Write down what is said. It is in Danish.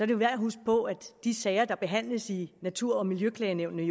jo værd at huske på at de sager der behandles i natur og miljøklagenævnet